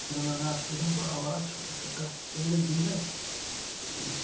बड़ा-बड़ा छोटा-छोटा पेड़ भी है।